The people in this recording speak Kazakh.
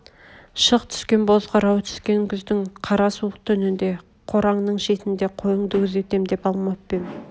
шық түскен боз қырау түскен күздің қара суық түнінде қораңның шетінде қойыңды күзетем деп алмап па ем